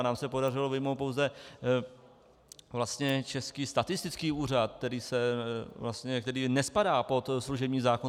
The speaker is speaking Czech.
A nám se podařilo vyjmout pouze vlastně Český statistický úřad, který nespadá pod služební zákon.